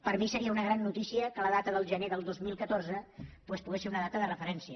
per a mi seria una gran notícia que la data del gener del dos mil catorze doncs pogués ser una data de referència